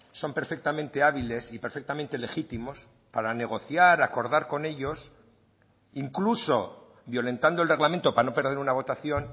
son perfectamente hábiles y perfectamente legítimos para negociar acordar con ellos incluso violentando el reglamento para no perder una votación